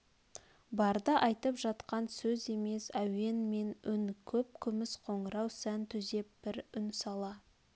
барды айтып жатқан сөз емес әуен мен үн көп күміс қоңырау сән түзеп бір үн сала